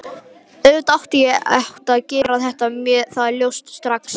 Auðvitað, ég hefði átt að gera mér það ljóst strax.